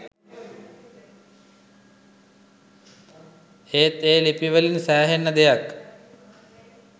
ඒත් ඒ ලිපිවලින් සෑහෙන්න දෙයක්